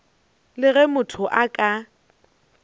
le ge motho a ka